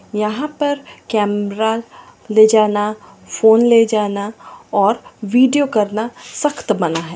यहाँ पर कैमरा ले जाना फोन ले जाना और वीडियो बनाना सख्त मना है।